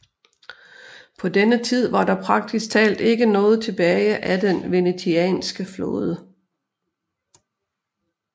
På denne tid var der praktisk talt ikke noget tilbage af den venetianske flåde